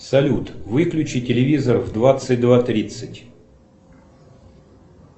салют выключи телевизор в двадцать два тридцать